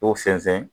Ko sɛnsɛn